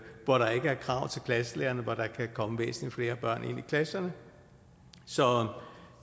hvor der ikke er krav til klasselærerne og hvor der kan komme væsentlig flere børn ind i klasserne så